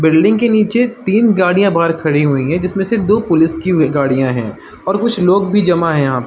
Building के नीचे तीन गाड़िया बाहर खड़ी हुई हैं जिसमे से दो पुलिस की गाड़िया हैं और कुछ लोग भी जमा हैं यहा पे ।